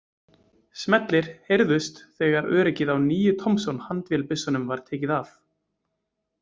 Smellir heyrðust þegar öryggið á níu Thompson- handvélbyssum var tekið af.